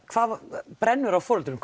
hvað brennur á foreldrum